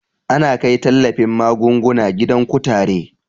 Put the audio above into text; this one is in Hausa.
Ana kai tallafin magunguna gidan kutare